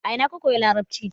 a ina ka koyi larabci?